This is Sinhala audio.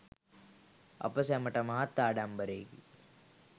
අප සැමට මහත් ආඩම්බරයෙකි.